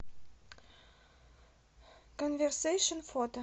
конверсэйшн фото